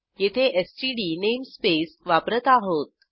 येथे std namespace वापरत आहोत